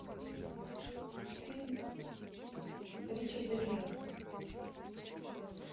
фильм ричарда гира